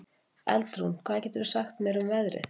Eldrún, hvað geturðu sagt mér um veðrið?